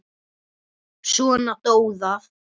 Svo dó það.